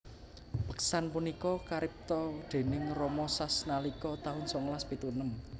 Beksan punika karipta déning Romo Sas nalika taun songolas pitu enem